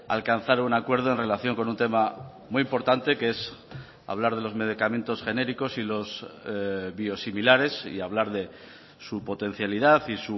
a alcanzar un acuerdo en relación con un tema muy importante que es hablar de los medicamentos genéricos y los biosimilares y hablar de su potencialidad y